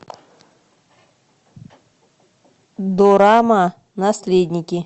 дорама наследники